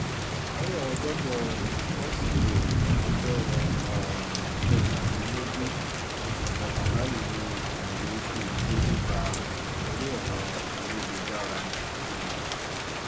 àárò ọjọ́bọ̀ tọ́sídẹ̀ẹ́ ọjọ́ um kẹtàdínlógún oṣù kọkànlá yìí ni ìròyìn ikú rẹ̀ déédé gba orí ẹ̀rọ ayélujára um